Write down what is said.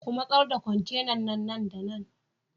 Ku masar da kwantenan nan da nan!